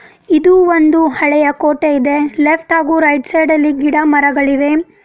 ಇದು ಒಂದು ಹಳೆಯ ಕೋಟೆ ಇದೆ. ಲೆಫ್ಟ್ ಹಾಗು ರೈಟ್ ಸೈಡ್ ಅಲ್ಲಿ ಗಿಡಮರಗಳಿವೆ .]